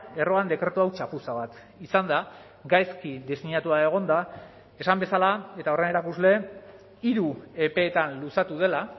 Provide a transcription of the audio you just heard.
erroan dekretu hau txapuza bat izan da gaizki diseinatua egon da esan bezala eta horren erakusle hiru epeetan luzatu dela